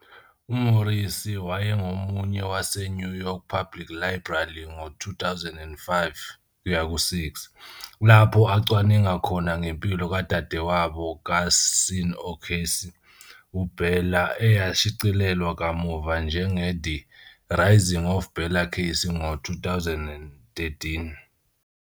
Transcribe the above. UMorrissy wayengomunye waseNew York Public Library ngo-2005-6, lapho acwaninga khona ngempilo kadadewabo kaSean O'Casey, uBella, eyashicilelwa kamuva njengeThe "Rising of Bella Casey" ngo-2013.